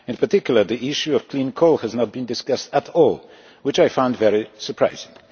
In particular, the issue of clean coal has not been discussed at all, which I found very surprising.